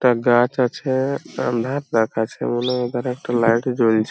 গাছ আছে আঁধার দেখাচ্ছে বলে এখানে একটা লাইট জ্বলছে।